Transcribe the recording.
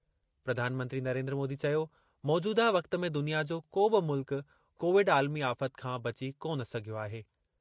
प्रधानमंत्री नरेंद्र मोदी चयो, मौजूदह वक़्त में दुनिया जो को बि मुल्क कोविड आलिमी आफ़त खां बची कोन सघियो आहे।